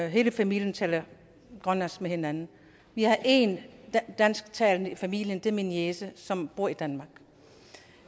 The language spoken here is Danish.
hele familien taler grønlandsk med hinanden vi har én dansktalende i familien og det er min niece som bor i danmark